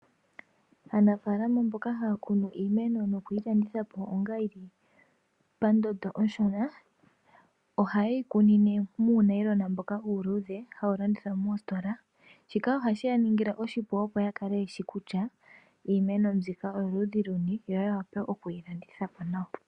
Aanafalama mboka haya kunu iimeno nokuyi landitha po omanga iishona ohaye yi kunine muunayilona mboka uuluudhe hawu landithwa moositola. Shika ohashi ya ningile oshipu, opo ya kale ye shi kutya iimeno mbika oyoludhi luni yo ya wape okuyi landitha po nawa.